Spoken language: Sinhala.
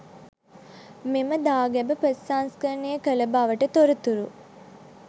මෙම දාගැබ ප්‍රතිසංස්කරණය කළ බවට තොරතුරු